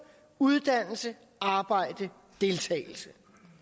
uddannelse arbejde deltagelse